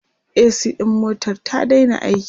a.c ɗin motar ta Daina aiki